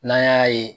N'an y'a ye